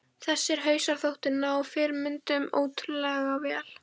Þessir hausar þóttu ná fyrirmyndunum ótrúlega vel.